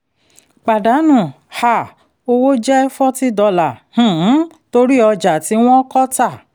pàdánù um owó jẹ́ forty dollars um torí ọjà tí wọ́n kọ tà.